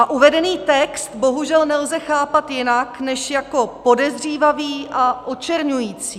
A uvedený text bohužel nelze chápat jinak než jako podezřívavý a očerňující.